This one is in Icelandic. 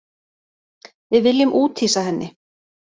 Við viljum úthýsa henni